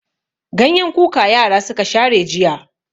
Ganyen kuka yara suka share jiya.